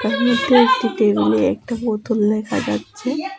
ছবিটিতে একটি টেবিলে একটা বোতল দেখা যাচ্ছে।